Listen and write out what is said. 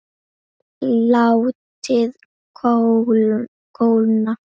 Látið kólna.